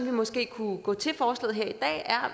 vi måske kunne gå til forslaget